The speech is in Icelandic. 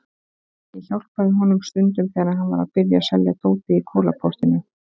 Ég hjálpaði honum stundum þegar hann var að byrja að selja dótið í Kolaportinu.